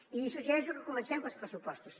i li suggereixo que comencem pels pressupostos